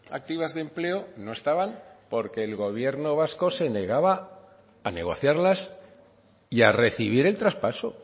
activas de empleo no estaban porque el gobierno vasco se negaba a negociarlas y a recibir el traspaso